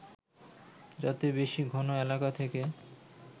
যাতে বেশি ঘন এলাকা থেকে